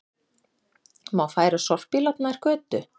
Má færa sorpílát nær götu